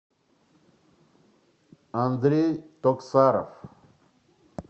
андрей токсаров